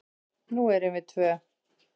Nú erum við tvö.